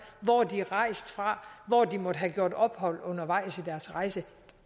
hvor de er rejst fra hvor de måtte have gjort ophold undervejs i deres rejse